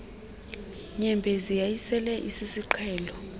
nyembezi yayisele isisiqhelo